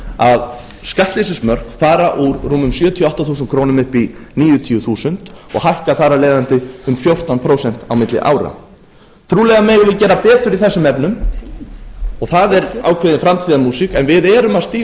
að skattleysismörk fara úr rúmum sjötíu og átta þúsund krónur upp í níutíu þúsund og hækka þar af leiðandi um fjórtán prósent á milli ára trúlega megum við gera betur í þessum efnum og það er ákveðin framtíðarmúsík en við erum að stíga